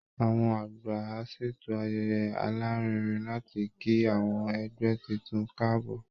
Àwọn àgbà á ṣètò ayẹyẹ alárinrin láti kí àwọn ẹgbẹ́ tuntun káàbọ̀